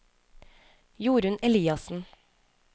Jorunn Eliassen